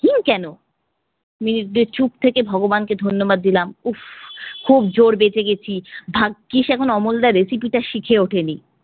হিং কেন! minutee দুই চুপ থেকে ভগবানকে ধন্যবাদ দিলাম। উফফ খুব জোর বেঁচে গেছি, ভাগ্গ্যিস এখন অমলদার recipe টা শিখে ওঠেনি।